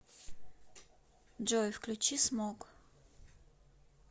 джой включи смог